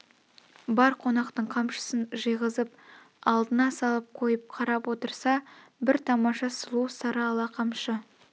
бар қонақтың қамшысын жиғызып алдына салып қойып қарап отырса бір тамаша сұлу сары ала қамшы